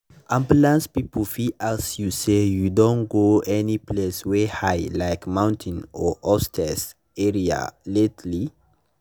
ambulance people fit ask you say “you don go any place wey high like mountain or upstairs area lately?”